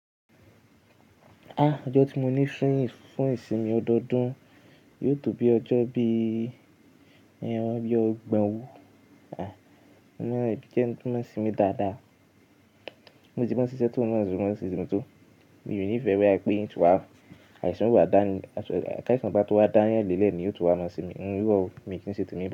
Ah! Ọjọ́ tí mo ní fún ìsinmi ọdọọdún yóò tó bí ọjọ́ bí i bí ọ̀gbọ̀n o. Ah! Mo máa n jẹ́ ẹni tó mọ́ n sinmi dáadáa. Bi mo ti mọ̀ n síṣẹ́ tó náà n mọ̀ se mo ń sinmi tó, mi ò nìfẹ́ bóyá pé n tún wá àìsàn o wà dání, káìsan bá tó wá daayan lélẹ̀ ni yóò tó wá mọ́ n sinmi. Iro o mii kí n ṣe tèmi bẹ́ẹ̀.